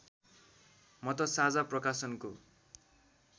म त साझा प्रकाशनको